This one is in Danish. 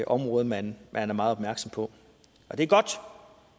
område man er meget opmærksom på det er godt